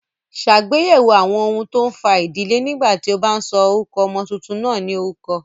Ṣàgbéyẹ̀wò àwọn ohun tó ń fa ìdílé nígbà tí o bá ń sọ orúkọ ọmọ tuntun náà ní orúkọ.